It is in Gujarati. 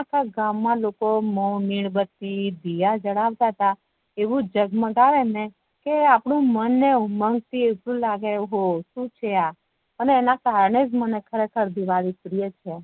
આખા ગામ મા લોકો મીણબતી દિયા જલાવ તા તા આવું જગ મગાવે ને કે આપડા મન ને ઉમંગ થી એટલું લાગે ઓહો શુ છે આ એના કારણે જ ખરેખર દિવાળી પ્રિય છે